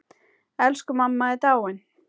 Elsku mamma er dáin.